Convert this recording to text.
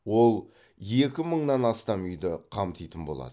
ол екі мыңнан астам үйді қамтитын болады